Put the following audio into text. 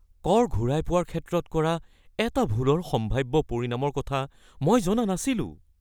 কৰ ঘূৰাই পোৱাৰ ক্ষেত্ৰত কৰা এটা ভুলৰ সম্ভাব্য পৰিণামৰ কথা মই জনা নাছিলোঁ।